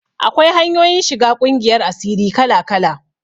Akwai hanyoyin shiga ƙungiyar asiri kala-kala.